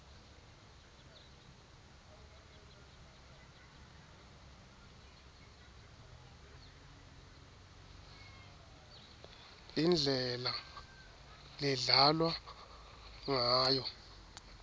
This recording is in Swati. indlela ledlalwa ngayo